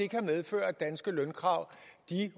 kan medføre at danske lønkrav